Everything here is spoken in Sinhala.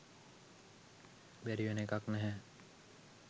බැරි වෙන එකක් නැහැ.